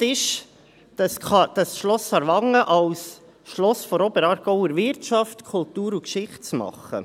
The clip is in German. Geplant ist, das Schloss Aarwangen zum Schloss der Oberaargauer Wirtschaft, Kultur und Geschichte zu machen.